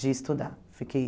de estudar. Fiquei